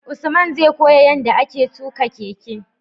Usman zai koya yanda ake tuka keke